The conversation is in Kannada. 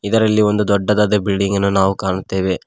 ಇದರಲ್ಲಿ ಒಂದು ದೊಡ್ಡದಾದ ಬಿಲ್ಡಿಂಗ್ ಅನ್ನು ನಾವು ಕಾಣುತ್ತೇವೆ.